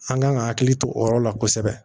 An kan ka hakili to o yɔrɔ la kosɛbɛ